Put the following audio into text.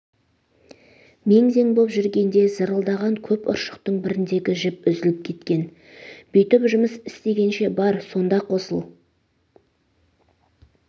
мең-зең боп жүргенде зырылдаған көп ұршықтың біріндегі жіп үзіліп кеткен бүйтіп жұмыс істегенше бар сонда қосыл